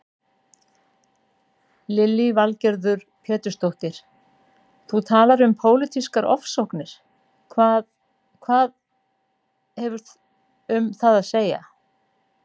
Lillý Valgerður Pétursdóttir: Þú talar um pólitískar ofsóknir, hvað, hvað, hefur um það að segja?